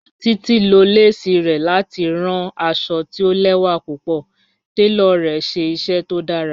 Títi ló lẹ̀sí rẹ̀ láti ránn àṣọ̀ tì ò lẹwa púpọ̀, tẹló rẹ̀ ṣẹ iṣẹ tó dàrá.